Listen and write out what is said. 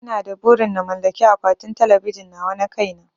Ina da burin na mallaki akwatin talabijin nawa na kai na